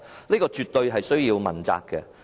這絕對需要問責。